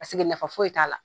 Paseke nafa foyi t'a la.